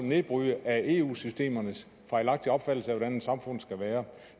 nedbryde af eu systemernes fejlagtige opfattelse af hvordan et samfund skal være